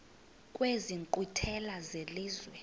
kwezi nkqwithela zelizwe